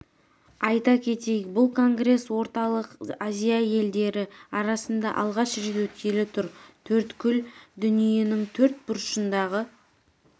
айта кетейік бұл конгресс орталық азия елдері арасында алғаш рет өткелі тұр төрткүл дүниенің төрт бұрышындағы